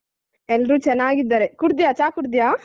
ಎಲ್ರೂ ಚೆನ್ನಾಗಿದ್ದಾರೆ ಕುಡಿದ್ಯಾ ಚಾ ಕುಡಿದ್ಯಾ?